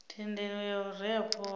thendelo ya u rea khovhe